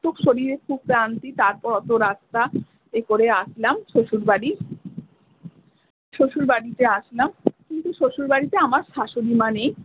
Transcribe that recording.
খুব শরীরে খুব ক্লান্তি তারপর অতো রাস্তা এইকরে আসলাম শ্বশুরবাড়ি শ্বশুরবাড়িতে আসলাম কিন্তু শ্বশুরবাড়িতে আমার শাশুড়ি মা নেই।